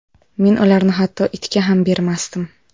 Men ularni hatto itga ham bermasdim .